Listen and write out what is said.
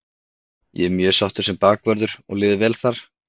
Ég er mjög sáttur sem bakvörður og liður vel þar.